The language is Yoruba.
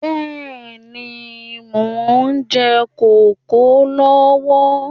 Bẹ́ẹ̀ni, mo ń jẹ kókò lọ́wọ́